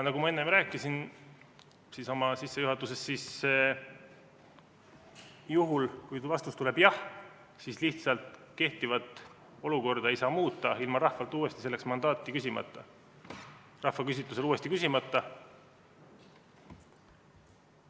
Nagu ma rääkisin oma sissejuhatuses, siis juhul kui vastus tuleb jah, siis lihtsalt kehtivat olukorda ei saa muuta ilma rahvalt uuesti selleks mandaati küsimata, seda rahvaküsitlusel küsimata.